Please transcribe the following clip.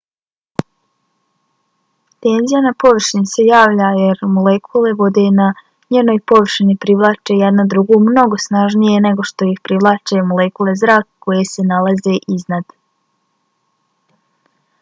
tenzija na površini se javlja jer molekule vode na njenoj površini privlače jedna drugu mnogo snažnije nego što ih privlače molekule zraka koje se nalaze iznad